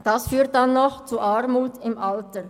Das führt dann zu Armut im Alter.